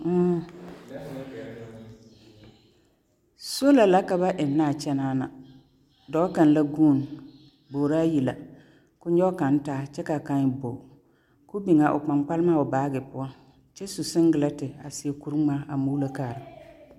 Sola la ka ba ennɛ a kyɛnaa na. Dɔɔ kaŋ la guun. Bograa yi la, ko nyɔge kaŋ taa kyɛ kaa kaŋ e bog. Ko biŋ a o kpaŋkpalema o baage poɔ, kyɛ su seŋglete a seɛ kur-ŋmaa a muulo kaara.